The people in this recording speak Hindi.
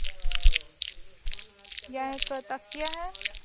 यह एक तकिया है।